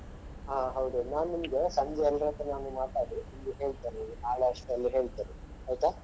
ಹಾ ಹೌದೌದು ನಾನು ನಿಮಗೆ ಸಂಜೆ ಎಲ್ಲರತ್ರನು ಒಮ್ಮೆ ಮಾತಾಡಿ ನಿಮ್ಗೆ ಹೇಳ್ತೇನೆ ನಾಳೆ ಅಷ್ಟ್ರಲ್ಲಿ ಹೇಳ್ತೇನೆ ಆಯ್ತಾ.